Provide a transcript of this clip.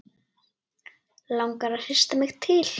Langar að hrista mig til.